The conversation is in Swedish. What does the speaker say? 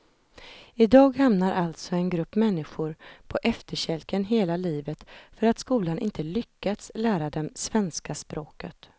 I dag hamnar alltså en grupp människor på efterkälken hela livet för att skolan inte lyckats lära dem svenska språket.